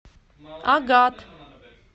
агат